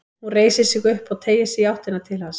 Hún reisir sig upp og teygir sig í áttina til hans.